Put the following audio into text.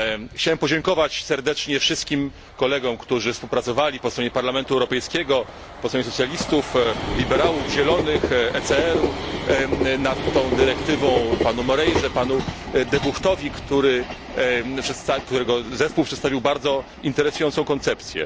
Chciałem podziękować serdecznie wszystkim kolegom, którzy współpracowali po stronie Parlamentu Europejskiego, po stronie socjalistów, liberałów, Zielonych, ECR u nad tą dyrektywą panu Moreirze, panu De Guchtowi, którego zespół przedstawił bardzo interesującą koncepcję.